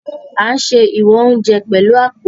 A n ṣe ìwọn oúnjẹ pẹlu apó